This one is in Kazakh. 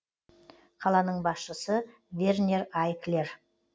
қаланың басшысы вернер айклер